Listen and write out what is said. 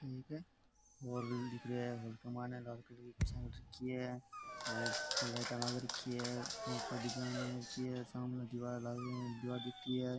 Mall दिख रेहा है लाल कलर की कुर्सियां रख रखी है और ऊपर लाइटा लाग रखी है ऊपर डिज़ाइन बना रखी है और सामने दिवार लाग दिवार दिख री है।